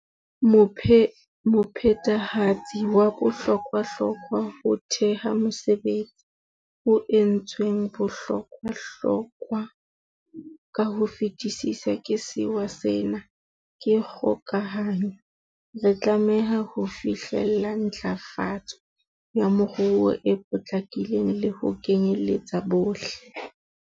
Mophethehatsi wa bohlokwahlokwa ho theha mesebetsi, o entsweng bohlokwahlokwa ka ho fetisisa ke sewa sena, ke kgokahanyo. Re tlameha ho fihlella ntlafa tso ya moruo e potlakileng le ho kenyeletsa bohle.